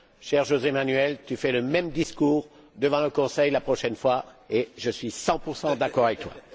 Cher José Manuel, tu fais le même discours devant le Conseil la prochaine fois et je suis 100 d'accord avec toi.